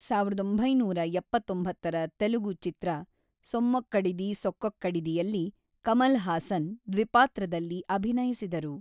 ಸಾವಿರದ ಒಂಬೈನೂರ ಎಪ್ಪತ್ತೊಂಬತ್ತರ ತೆಲುಗು ಚಿತ್ರ ಸೊಮ್ಮೊಕ್ಕಡಿದಿ ಸೊಕ್ಕೊಕ್ಕಡಿದಿಯಲ್ಲಿ, ಕಮಲ್ ಹಾಸನ್ ದ್ವಿಪಾತ್ರದಲ್ಲಿ ಅಭಿನಯಿಸಿದರು.